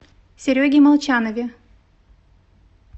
сереге молчанове